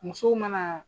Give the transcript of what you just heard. Musow mana